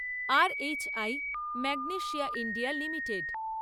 R. H. I magnesia India limited